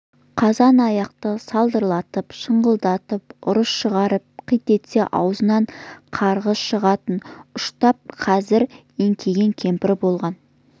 қазан-аяқты салдырлатып шаңқылдап ұрыс шығарып қит етсе аузынан қарғыс шығатын ұштап қазір еңкейген кемпір болған